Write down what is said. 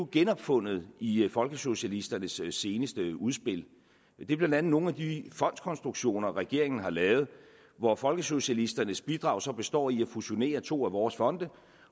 genopfundet i folkesocialisternes seneste udspil det er blandt andet nogle af de fondskonstruktioner regeringen har lavet hvor folkesocialisternes bidrag så består i at fusionere to af vores fonde